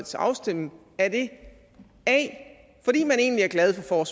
til afstemning a at man egentlig er glad for